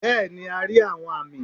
bẹẹni a ri awọn ami